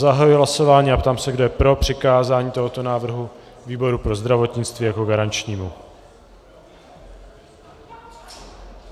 Zahajuji hlasování a ptám se, kdo je pro přikázání tohoto návrhu výboru pro zdravotnictví jako garančnímu.